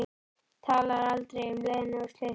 Talar aldrei um Lenu og slysið.